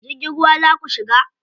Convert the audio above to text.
Jirgin ruwa za ku shiga?